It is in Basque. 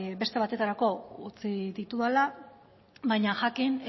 beste batetarako utzi ditudala baina jakin